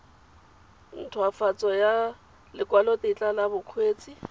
nthwafatso ya lekwalotetla la bokgweetsi